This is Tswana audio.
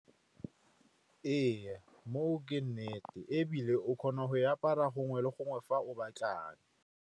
Ee, mo o ke nnete ebile o kgona go e apara gongwe le gongwe fa o batlang.